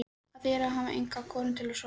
Það þýðir að hafa enga konu til að sofa hjá.